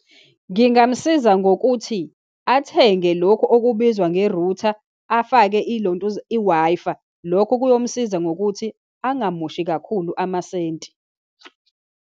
Ngingamsiza ngokuthi athenge lokhu okubizwa nge-router, afake ilontuza i-Wi-Fi. Lokho kuyomsiza ngokuthi angamoshi kakhulu amasenti.